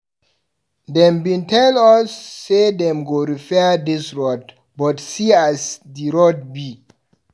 Dem bin tell us sey dem go repair dis road but see as di road be.